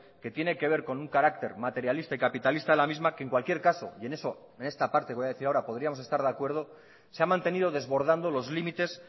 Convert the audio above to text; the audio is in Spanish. que tiene que ver con un carácter materialista y capitalista en la misma que en cualquier caso y en eso y en esta parte voy a decir ahora podríamos estar de acuerdo se ha mantenido desbordando los límites